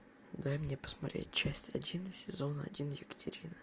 дай мне посмотреть часть один сезон один екатерина